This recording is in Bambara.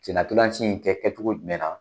Senna ntolanci in kɛ kɛcogo jumɛnna ?